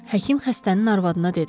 Həkim xəstənin arvadına dedi.